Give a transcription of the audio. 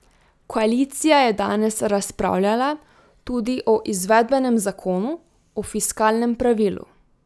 Koalicija je danes razpravljala tudi o izvedbenem zakonu o fiskalnem pravilu.